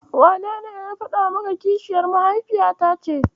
Wanene ya faɗa maka kishiyar mahaifiyata ce?